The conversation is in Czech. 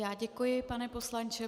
Já děkuji, pane poslanče.